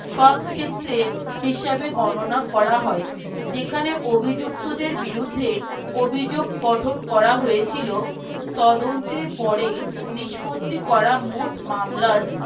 সবক্ষেত্রে হিসেবে গণনা করা হয় যেখানে অভিযুক্তদের বিরুদ্ধে অভিযোগ পতন করা হয়েছিল তদন্তের পরে নিস্পত্তি করা মোট মামলার